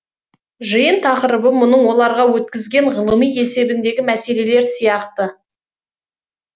жиын тақырыбы мұның оларға өткізген ғылыми есебіндегі мәселелер сияқты